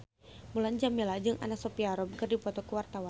Mulan Jameela jeung Anna Sophia Robb keur dipoto ku wartawan